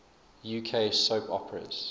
uk soap operas